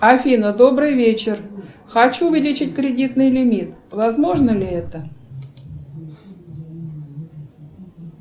афина добрый вечер хочу увеличить кредитный лимит возможно ли это